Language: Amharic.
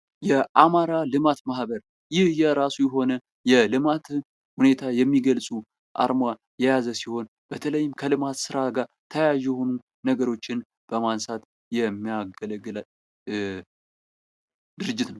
የአማራ ልማት ማህበር ይህ የራሱ የሆነ የልማት ሁኔታ የሚገልጹ አርማ የያዘ ሲሆን በተለይም ከልማት ስራ ጋር ተያያዥ ነገሮችን በማንሳት የሚያገለግለን ድርጅት ነው።